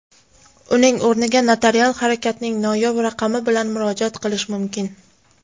uning o‘rniga notarial harakatning noyob raqami bilan murojaat qilish mumkin.